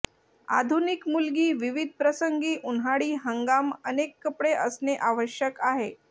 आधुनिक मुलगी विविध प्रसंगी उन्हाळी हंगाम अनेक कपडे असणे आवश्यक आहे